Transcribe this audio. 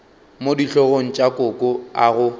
mo dihlogong tša koko ago